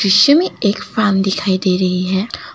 सीमिक एक फार्म दिखाई दे रही है।